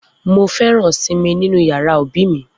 Mo feran simi ninu yara obi mi.